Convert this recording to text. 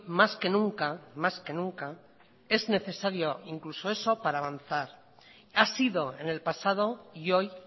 más que nunca más que nunca es necesario incluso eso para avanzar ha sido en el pasado y hoy